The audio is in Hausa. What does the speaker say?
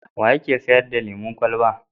Wa yake sayar da lemon kwalaba?